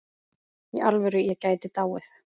Í alvöru, ég gæti dáið.